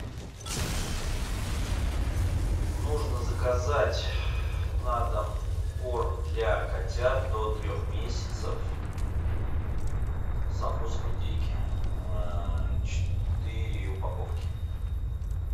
нужно заказать на дом корм для котят до трех месяцев со вкусом индейки четыре упаковки